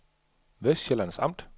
Vestsjællands Amt